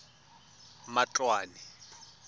matloane